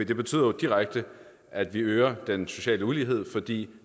det betyder jo direkte at vi øger den sociale ulighed fordi